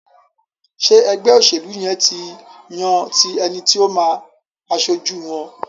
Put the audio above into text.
Ṣe ègbé òṣèlú yén tí yàn ti ẹní tí o má aṣojú wón?